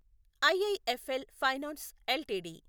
IIFL finance LTD